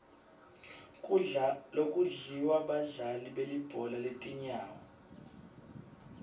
kudla lokudliwa badlali belibhola letinyawo